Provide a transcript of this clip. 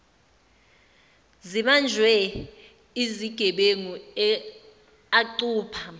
zibanjwe izigebengu acupha